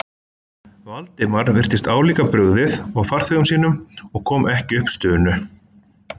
Valdimar virtist álíka brugðið og farþegum sínum og kom ekki upp stunu.